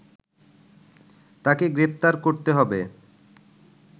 তাকে গ্রেপ্তার করতে হবে